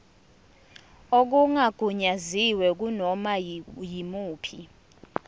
okungagunyaziwe kunoma yimuphi